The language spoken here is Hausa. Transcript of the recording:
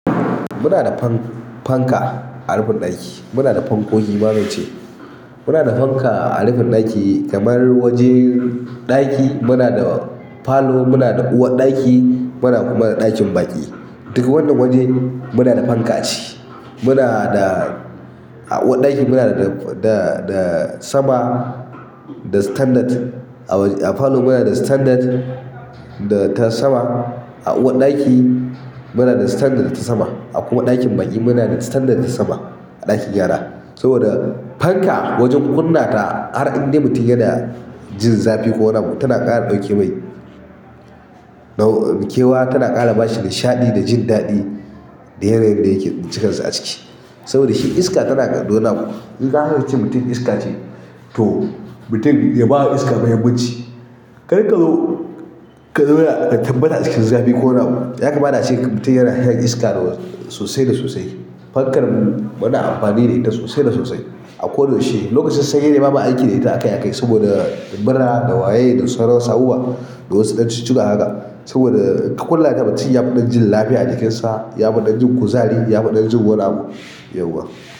Muna da fan- fanka a rufin ɗaki. Muna da fankogi ma zance. Muna da fanka a rufin ɗaki kamar wajen ɗaki, muna da falo, muna da uwar ɗaki, muna kuma da ɗakin baƙi. Duka wannan waje muna da fanka a ce. Muna da a uwar ɗaki muna da, da, da sama, da standard. A palor muna da standard da ta sama a uwar ɗaki muna da standard da ta sama. A kuma ɗakin baƙi muna da standard da ta sama a ɗakin gyara. Saboda fanka wajen kunna ta har inda mutum yana jin zafi ko nama tana ƙara ɗauke mai nau. Kewa tana ƙara bashi nishaɗi da jin daɗi da yanayin da yake bincikarsa a ciki. Saboda shi iska tana gado nama. Idan aka ce mutum iska ce to mutum ya bawa iska mahimmanci. Ƙariƙazo ƙazona da tabbata cikin zafi ko nama. Yakamata a ce mutum yana shan iska sosai da sosai. Fankar mu ma na amfani da ita sosai da sosai. Akoda yaushe lokacin sanyi dai bamu aiki da ita akai akai saboda mura da waye da sauran wasu abubuwa da wasu ɗan chituttuka haka. Saboda ka kunna ta cikin barci, mutum ya fi dan ji lafiya a jikin sa, ya fi dan ji kuzari, yafi dan jin wani abu.